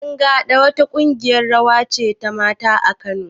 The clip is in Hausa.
Ƴan gaɗa wa ta ƙungiyar rawa ce ta mata a Kano